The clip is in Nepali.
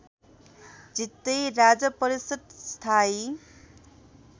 जित्दै राजपरिषद् स्थायी